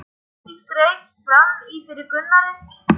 Hjördís greip fram í fyrir Gunnari.